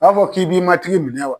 U b'a fɔ k'i bi matigi minɛ wa ?